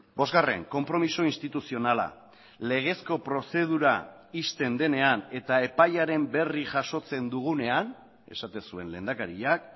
bosgarren konpromiso instituzionala legezko prozedura ixten denean eta epaiaren berri jasotzen dugunean esaten zuen lehendakariak